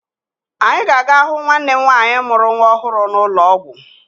Anyị ga-aga hụ nwanne m nwaanyị mụrụ nwa ọhụrụ n'ụlọ ọgwụ